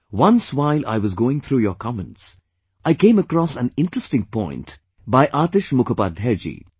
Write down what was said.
Once while I was going through your comments, I came across an interesting point by AtishMukhopadhyayji